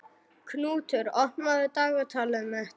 Knútur, opnaðu dagatalið mitt.